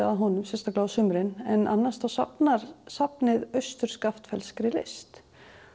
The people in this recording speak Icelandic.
að honum sérstaklega á sumrin en annars safnar safnið austur list